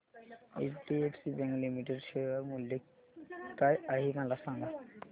HDFC bank limited share मूल्य काय आहे मला सांगा